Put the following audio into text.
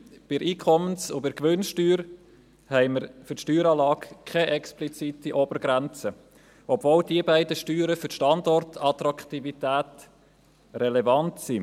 Bei der Einkommens- und bei der Gewinnsteuer haben wir für die Steueranlage keine explizite Obergrenze, obwohl diese beiden Steuern für die Standortattraktivität relevant sind.